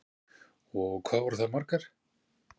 Hugrún: Og hvað voru það margar?